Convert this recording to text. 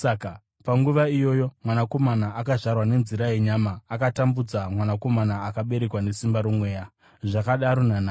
Panguva iyoyo mwanakomana akazvarwa nenzira yenyama akatambudza mwanakomana akaberekwa nesimba roMweya. Zvakadaro nanhasi.